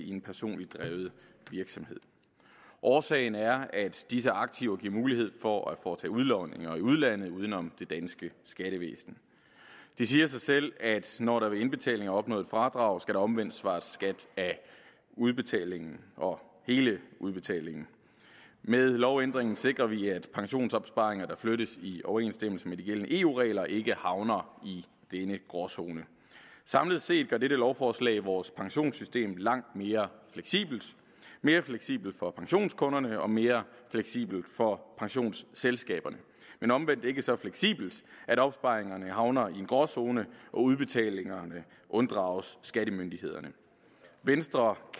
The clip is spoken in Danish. i en personligt drevet virksomhed årsagen er at disse aktiver giver mulighed for at foretage udlodninger i udlandet uden om det danske skattevæsen det siger sig selv at når der ved indbetalinger er opnået et fradrag skal der omvendt svares skat af udbetalingen og hele udbetalingen med lovændringen sikrer vi at pensionsopsparinger der flyttes i overensstemmelse med de gældende eu regler ikke havner i denne gråzone samlet set gør dette lovforslag vores pensionssystem langt mere fleksibelt mere fleksibelt for pensionskunderne og mere fleksibelt for pensionsselskaberne men omvendt ikke så fleksibelt at opsparingerne havner i en gråzone og udbetalingerne unddrages skattemyndighederne venstre